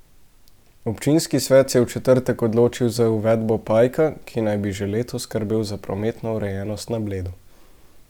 Občinski svet se je v četrtek odločil za uvedbo pajka, ki naj bi že letos skrbel za prometno urejenost na Bledu.